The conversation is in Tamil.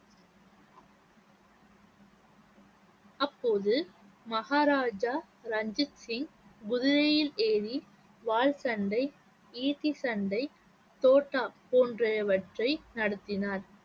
அப்போது மகாராஜா ரஞ்சித் சிங் குதிரையில் ஏறி வாள் சண்டை, ஈட்டி சண்டை, தோட்டா போன்றவற்றை நடத்தினார்